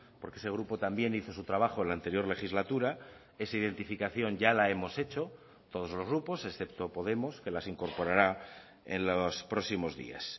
porque ese grupo también hizo su trabajo en la anterior legislatura esa identificación ya la hemos hecho todos los grupos excepto podemos que las incorporará en los próximos días